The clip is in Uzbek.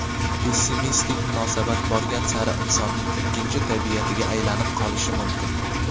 pessimistik munosabat borgan sari insonning ikkinchi tabiatiga aylanib qolishi mumkin.